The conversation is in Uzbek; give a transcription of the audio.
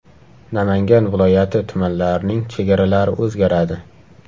Namangan viloyati tumanlarining chegaralari o‘zgaradi .